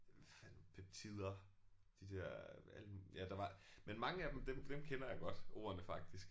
Hvad fanden peptider de der alle ja der var men mange af dem dem kender jeg godt ordene faktisk